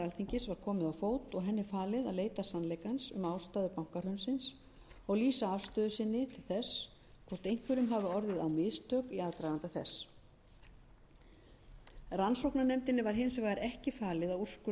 alþingis var komið á fót og henni falið að leita sannleikans um ástæður bankahrunsins og lýsa afstöðu sinni til þess hvort einhverjum hafi orðið á mistök í aðdraganda þess rannsóknarnefndinni var hins vegar ekki falið að úrskurða um sekt og sakleysi manna